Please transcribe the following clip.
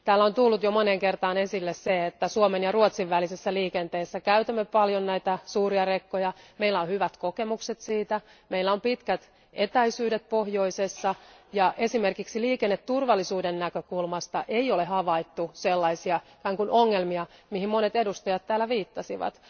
Täällä on tullut jo moneen kertaan esille se, että Suomen ja Ruotsin välisessä liikenteessä käytämme paljon näitä suuria rekkoja, meillä on hyvät kokemukset siitä, meillä on pitkät etäisyydet pohjoisessa, ja esimerkiksi liikenneturvallisuuden näkökulmasta ei ole havaittu, sellaisia ikään kuin ongelmia, joihin monet edustajat täällä viittasivat.